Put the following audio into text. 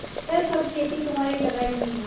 यह सब खेती तुम्हारी लगायी हुई है